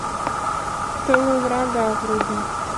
в тылу врага вруби